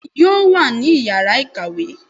bẹẹni yóò wa ni ìyára ikáwe